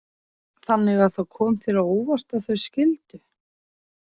Þannig að það kom þér á óvart að þau skildu?